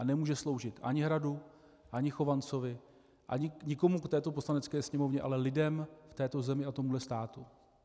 A nemůže sloužit ani Hradu ani Chovancovi ani nikomu v této Poslanecké sněmovně, ale lidem v této zemi a tomhle státu.